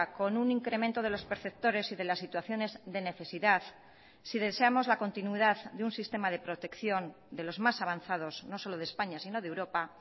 con un incremento de los perceptores y de las situaciones de necesidad si deseamos la continuidad de un sistema de protección de los más avanzados no solo de españa si no de europa